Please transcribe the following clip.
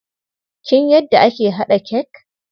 Kin yadda ake haɗa cake?